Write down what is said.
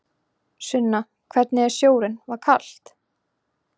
Sunna: Hvernig er sjórinn, var kalt?